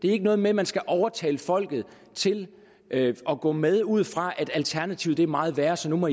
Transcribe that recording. er noget med at man skal overtale folket til at gå med ud fra at alternativet er meget værre så nu må